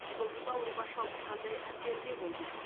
жұлдызды ауруға шалдыққандай әсерде болды